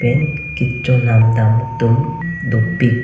lapen kechonam dam atum dopik.